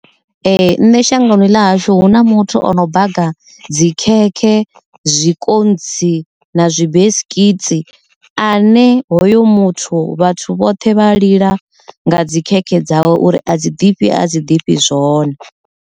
Ee, nṋe shangoni ḽa hashu hu na muthu o no baga dzikhekhe, zwikontsi na zwi based dzikilasi ane hoyo muthu vhathu vhoṱhe vha lila nga dzi kereke dzawe uri a dzi ḓifhi a dzi ḓifhi zwone.